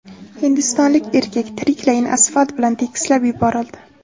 Hindistonlik erkak tiriklayin asfalt bilan tekislab yuborildi.